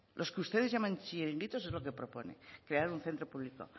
los que ustedes llaman chiringuitos es lo que proponen crear un centro público